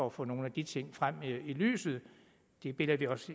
at få nogle af de ting frem i lyset det bilder vi os